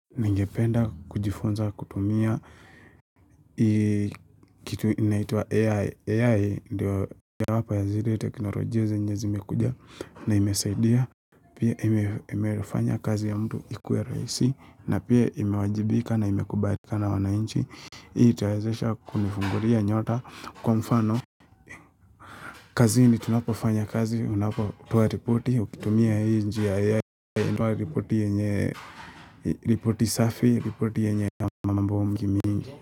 Ningependa kujifunza kutumia kitu inaitwa AI, AI ndio yawapa yazidi teknolojia zenye zimekuja na imesaidia Pia imefanya kazi ya mtu ikuwe rahisi na pia imewajibika na imekubarika na wanainchi Hii itawezesha kunifungulia nyota kwa mfano kazini tunapofanya kazi, unapotoa ripoti, ukitumia hii njia AI hutoa ripoti yenye, ripoti safi, ripoti yenye mambo mingi mingi.